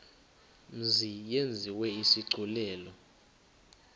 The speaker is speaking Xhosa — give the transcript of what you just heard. mzi yenziwe isigculelo